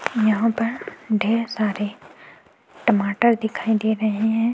यहाँ पर ढेर सारे टमाटर दिखाई दे रहे हैं।